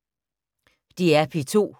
DR P2